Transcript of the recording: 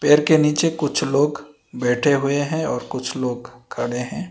पेर के नीचे कुछ लोग बैठे हुए हैं और कुछ लोग खड़े हैं।